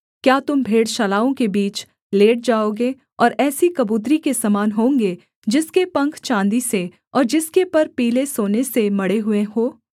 क्या तुम भेड़शालाओं के बीच लेट जाओगे और ऐसी कबूतरी के समान होंगे जिसके पंख चाँदी से और जिसके पर पीले सोने से मढ़े हुए हों